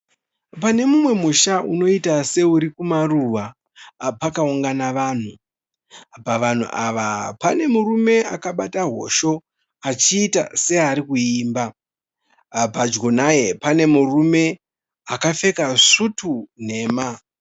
Pane mumwe musha unoita seuri kumaruwa pakaunganga vanhu. Pavanhu ava pane murume akabata hosho achiita searikuimba. padyo naye pane murume akapfeka svutu nhema.